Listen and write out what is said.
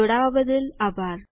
જોડાવાબદ્દલ આભાર